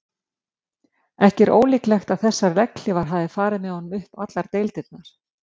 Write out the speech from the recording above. Ekki er ólíklegt að þessar legghlífar hafi farið með honum upp allar deildirnar.